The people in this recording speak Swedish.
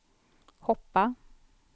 hoppa